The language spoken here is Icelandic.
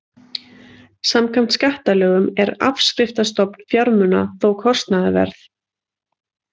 Samkvæmt skattalögum er afskriftastofn fjármuna þó kostnaðarverð.